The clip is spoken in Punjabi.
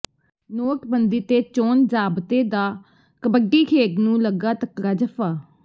ਨੋਟਬੰਦੀ ਤੇ ਚੋਣ ਜ਼ਾਬਤੇ ਦਾ ਕਬੱਡੀ ਖੇਡ ਨੂੰ ਲੱਗਾ ਤਕੜਾ ਜੱਫ਼ਾ